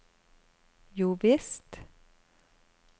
jovisst